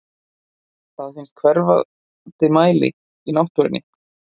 Það finnst í hverfandi mæli í náttúrunni.